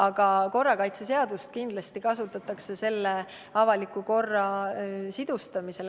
Aga korrakaitseseadust kindlasti kasutatakse avaliku korra sisustamisel.